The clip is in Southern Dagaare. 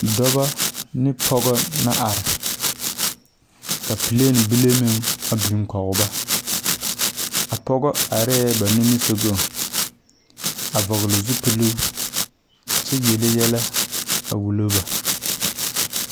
Dɔbɔ ane pɔge la are ka plane bile meŋ a biŋ kɔge ba a pɔge arɛɛ ba nimisogɔŋ a vɔgle zupili kyɛ yele yɛlɛ wulo ba.